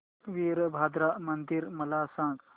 वीरभद्रा मंदिर मला सांग